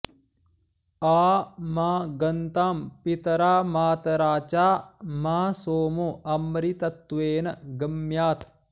आ मा गन्तां पितरा मातरा चा मा सोमो अमृतत्वेन गम्यात्